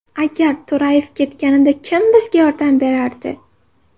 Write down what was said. Agar To‘rayev ketganida, kim bizga yordam berardi?